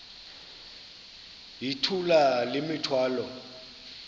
yithula le mithwalo